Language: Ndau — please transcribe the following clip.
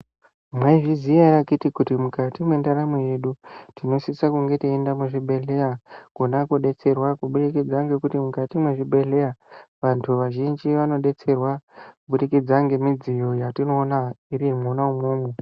Mwaizviziya erw akiti kuti mukati mwendaramo yedu tinosisa kunge teinda muzvibhedhleya kona kodetserwa kubudikidza ngekuti mukati mwezvibhedhleya vantu vazhinji vanodetserwa kubudikidza ngemudziyo yatinoona mwona umwomwo.